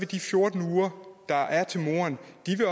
de fjorten uger der er til moren